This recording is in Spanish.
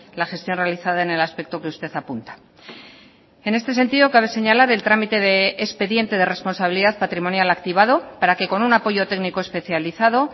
la gestión realizada en el aspecto que usted apunta en este sentido cabe señalar el trámite de expediente de responsabilidad patrimonial activado para que con un apoyo técnico especializado